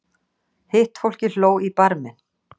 Hitt fólkið hló í barminn.